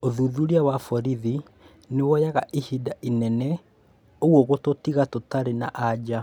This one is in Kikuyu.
ũthuthuria wa borithi nĩwoyaga ihinda inene ũguo gũtũtiga tũtarĩ na anja